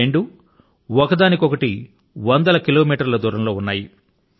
ఈ రెండూ ఒకదానిరి మరొకటి వందల కిలోమీటర్ల దూరం లో ఉన్నాయి